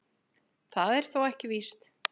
Það er þó ekki víst.